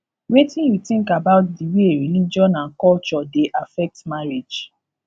wetin you think about di way religion and culture dey affect marriage